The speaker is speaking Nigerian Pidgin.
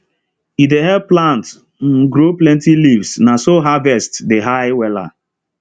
e dey help plant um grow plenty leaves na so harvest dey high wella